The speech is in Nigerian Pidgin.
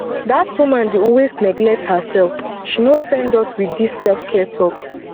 dat woman dey always neglect herself she no send us wit dis selfcare talk